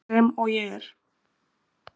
Sem og ég er.